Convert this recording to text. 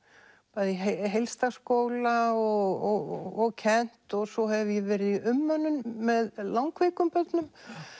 bæði í heilsdagsskóla og kennt og svo hef ég verið í umönnun með langveikum börnum